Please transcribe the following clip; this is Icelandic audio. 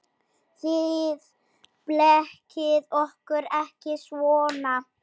Þið blekkið okkur ekki svona.